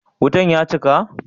Wutan ya cika?